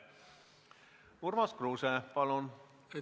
Urmas Kruuse, palun!